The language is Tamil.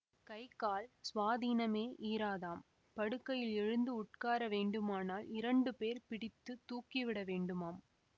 கை கால் சுவாதீனமே ஈராதாம் படுக்கையில் எழுந்து உட்கார வேண்டுமானால் இரண்டு பேர் பிடித்து தூக்கிவிட வேண்டுமாம்